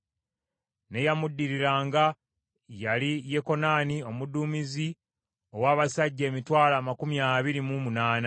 n’eyamuddiriranga yali Yekokanani omuduumizi ow’abasajja emitwalo amakumi abiri mu munaana (280,000);